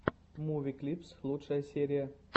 муви клипс лучшая серия